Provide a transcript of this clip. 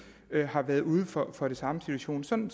har været ude for for den samme situation sådan